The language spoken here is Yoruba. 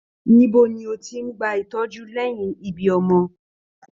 Níbo ni o tí n gbà ìtọjú lẹyìn ibí ọmọ?